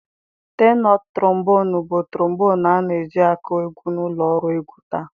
Tenọ Trombonụ bụ trombonụ a na-eji akụ egwu na ụlọ ọrụ egwu taa.